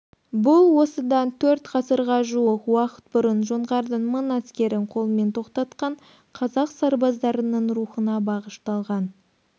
бұл осыдан төрт ғасырға жуық уақыт бұрын жоңғардың мың әскерін қолмен тоқтатқан қазақ сарбаздарының рухына бағышталған